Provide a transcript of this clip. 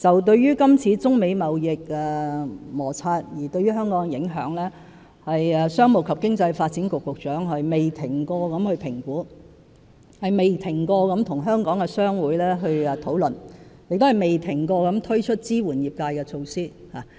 對於今次中美貿易摩擦對香港的影響，商務及經濟發展局局長不斷進行評估，不斷與香港的商會討論，亦不斷推出支援業界的措施。